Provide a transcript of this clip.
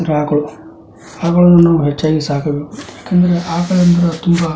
ಆಕಳು ಆಕಳನ್ನು ನಾವು ಹೆಚ್ಚಾಗಿ ಸಾಕಬೇಕು ಯಾಕಂದರೆ ಆಕಳು ಎಂದರೆ ತುಂಬಾ --